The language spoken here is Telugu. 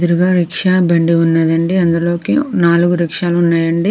ఎదురుగా రిక్షా బండి ఉన్నది అండి. అందులోకి నాలుగు రిక్షా లు ఉన్నాయండి.